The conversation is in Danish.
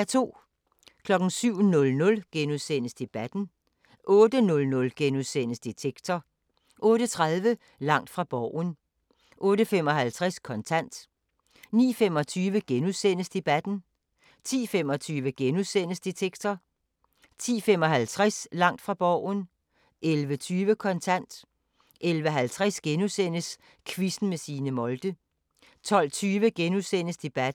07:00: Debatten * 08:00: Detektor * 08:30: Langt fra Borgen 08:55: Kontant 09:25: Debatten * 10:25: Detektor * 10:55: Langt fra Borgen 11:20: Kontant 11:50: Quizzen med Signe Molde * 12:20: Debatten *